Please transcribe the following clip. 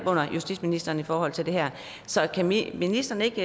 under justitsministeren i forhold til det her så kan ministeren ikke